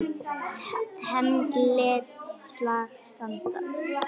Hann lét slag standa.